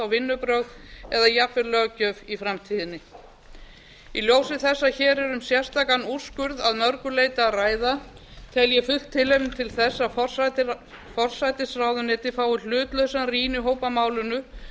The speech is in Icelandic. vinnubrögð eða jafnvel löggjöf í framtíðinni í ljósi þess að hér er um sérstakan úrskurð að mörgu leyti að ræða tel ég fullt tilefni til þess að forsætisráðuneytið fái hlutlausan rýnihóp að málinu